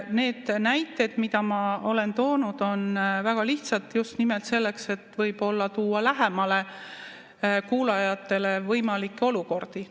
Need näited, mida ma olen toonud, on väga lihtsad just nimelt sellepärast, et võib-olla tuua lähemale kuulajatele võimalikke olukordi.